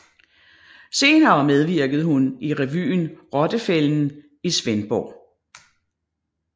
Senere medvirkede hun i revyen Rottefælden i Svendborg